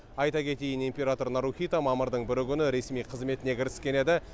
айта кетейін император нарухито мамырдың бірі күні ресми қызметіне кіріскен еді